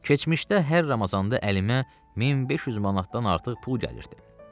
Keçmişdə hər Ramazanda əlimə 1500 manatdan artıq pul gəlirdi.